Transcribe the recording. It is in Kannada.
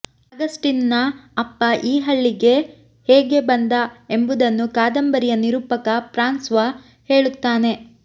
ಆಗಸ್ಟಿನ್ನ ಅಪ್ಪ ಈ ಹಳ್ಳಿಗೆ ಹೇಗೆ ಬಂದ ಎಂಬುದನ್ನು ಕಾದಂಬರಿಯ ನಿರೂಪಕ ಫ್ರಾನ್ಸ್ವ ಹೇಳುತ್ತಾನೆ